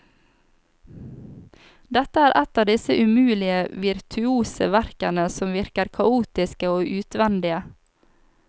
Dette er et av disse umulige virtuose verkene som virker kaotiske og utvendige.